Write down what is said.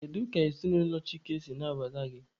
Kedu ka ezinụlọ Chike si nabata gị?